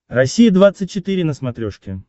россия двадцать четыре на смотрешке